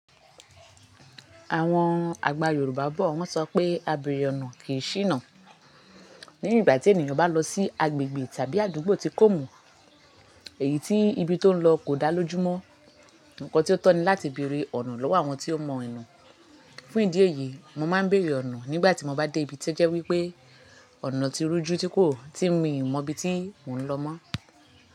Àwọn àgbà Yorùbá bọ̀ wọ́n sọ pé "abèrè ọ̀nà kì í ṣíná". Ní ìgbà tí ènìyàn bá lọ sí agbègbè tàbí àdúgbò tí kò mọ̀, èyí tí ibi tó ń lọ kò dá lójú mọ́, nǹkan tí ó tọ́ ni láti bèrè ọ̀nà lọ́wọ́ àwọn tí ó mọ ìnù. Fún ìdí èyí, mo máa ń bèrè ọ̀nà nígbà tí mo bá dé ibi to jẹ́ wí pé ọ̀nà ti rújú tí kò, tí mi mọ ibi tí mò ń lọ mọ́.